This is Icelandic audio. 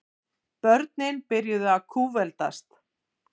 Börnin byrjuðu að kútveltast.